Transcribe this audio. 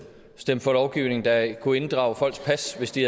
stemt for lovgivning der kunne inddrage folks pas hvis de